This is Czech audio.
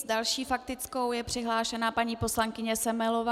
S další faktickou je přihlášena paní poslankyně Semelová.